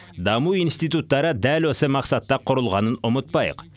даму институттары дәл осы мақсатта құрылғанын ұмытпайық